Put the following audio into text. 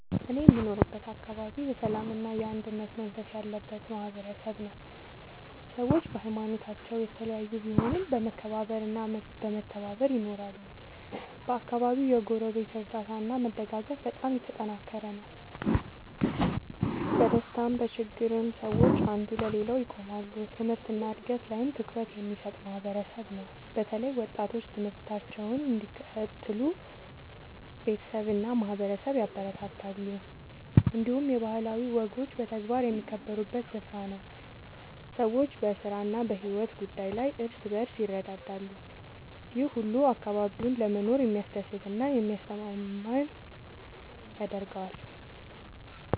እኔ የምኖርበት አካባቢ የሰላምና የአንድነት መንፈስ ያለበት ማህበረሰብ ነው። ሰዎች በሀይማኖታቸው የተለያዩ ቢሆኑም በመከባበር እና በመተባበር ይኖራሉ። በአካባቢው የጎረቤት እርዳታ እና መደጋገፍ በጣም የተጠናከረ ነው። በደስታም በችግርም ሰዎች አንዱ ለሌላው ይቆማሉ። ትምህርት እና እድገት ላይም ትኩረት የሚሰጥ ማህበረሰብ ነው። በተለይ ወጣቶች ትምህርታቸውን እንዲቀጥሉ ቤተሰብ እና ማህበረሰብ ያበረታታሉ። እንዲሁም የባህላዊ ወጎች በተግባር የሚከበሩበት ስፍራ ነው። ሰዎች በስራ እና በሕይወት ጉዳይ ላይ እርስ በርስ ይረዳዳሉ። ይህ ሁሉ አካባቢውን ለመኖር የሚያስደስት እና የሚያስተማማኝ ያደርገዋል።